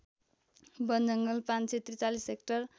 वनजङ्गल ५४३ hectare